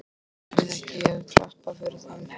Eigum við ekki að klappa fyrir þeim?